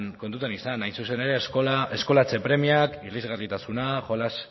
kontutan izan hain zuzen ere eskolaratze premiak irisgarritasuna jolas